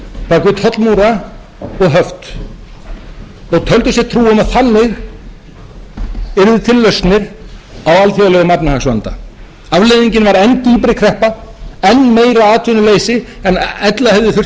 við tollmúra og höft og töldu sér trú um að þannig yrðu til lausnir á alþjóðlegum efnahagsvanda afleiðingin var enn dýpri kreppa enn meira atvinnuleysi en ella hefði þurft